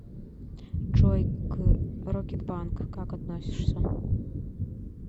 джой к рокетбанк как относишься